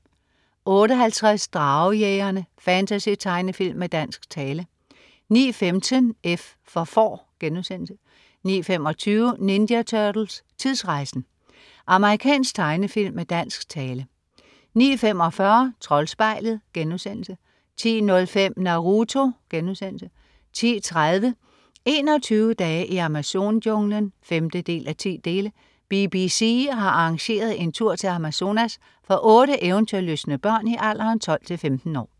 08.50 Dragejægerne. Fantasy-tegnefilm med dansk tale 09.15 F for Får* 09.25 Ninja Turtles: Tidsrejsen! Amerikansk tegnefilm med dansk tale 09.45 Troldspejlet* 10.05 Naruto* 10.30 21 dage i Amazon-junglen 5:10. BBC har arrangeret en tur til Amazonas for otte eventyrlystne børn i alderen 12-15 år